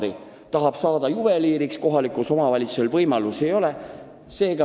Ta tahab õppida juveliiriks, aga kohalikus omavalitsuses selleks võimalust ei ole.